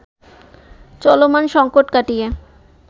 চলমান সংকট কাটিয়ে